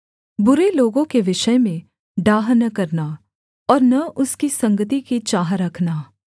बुरे लोगों के विषय में डाह न करना और न उसकी संगति की चाह रखना